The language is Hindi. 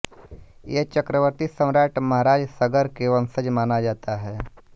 ये चक्रवर्ती सम्राट महाराज सगर के वंशज माना जाता है